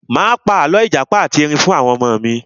Mo pa àlọ́ ìjàpá ati Ẹrin fún àwọn ọmọ mi.